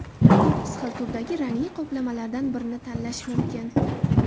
To‘qqiz xil turdagi rangli qoplamalardan birini tanlash mumkin.